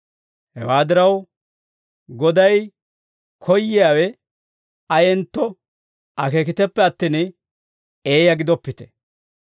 Hewaa diraw, Goday koyyiyaawe ayentto akeekiteppe attin, eeyaa gidoppite.